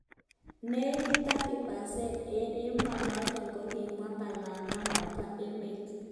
Nekit 30% eng emonotok kokitwaa palananok po emeet